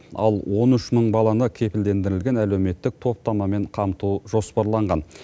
ал он үш мың баланы кепілдендірілген әлеуметтік топтамамен қамту жоспарланған